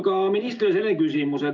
Aga minister, selline küsimus.